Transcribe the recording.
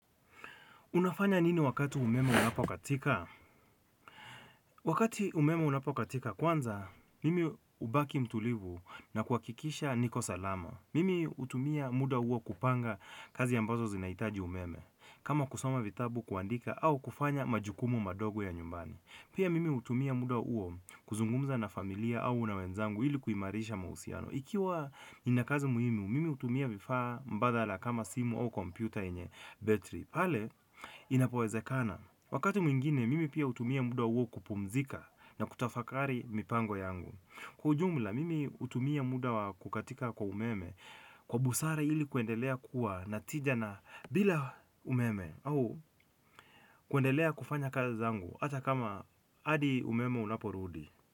Unafanya nini wakati umeme unapokatika? Wakati umeme unapokatika kwanza, mimi hubaki mtulivu na kuhakikisha niko salama. Mimi hutumia muda huo kupanga kazi ambazo zinahitaji umeme. Kama kusoma vitabu kuandika au kufanya majukumu madogo ya nyumbani pia mimi hutumia muda huo kuzungumza na familia au na wenzangu ili kuimarisha mahusiano. Ikiwa nina kazi muhimu, mimi hutumia vifaa mbadala kama simu au kompyuta yenye battery. Pale inapowezekana. Wakati mwingine mimi pia hutumia muda huo kupumzika na kutafakari mipango yangu kwa ujumla mimi hutumia muda kukatika kwa umeme kwa busara ili kuendelea kuwa na tija na bila umeme au kuendelea kufanya kazi zangu hata kama hadi umeme unaporudi.